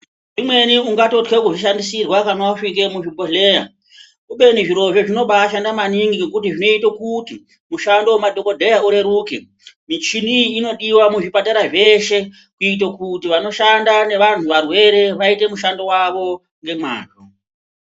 Umweni ungatotya kushandisirwa kana wapinda muzvibhedhlera . Kubeni zvirozvo zvinobaashanda maningi ngekuti zvinoita kuti mushando nemadhokodheya urerukemi hini iyi inodiwa muzvipatara zveshe kuitira kuti vanoshanda nevantu varwere vaite mushando wavo ngemazvo.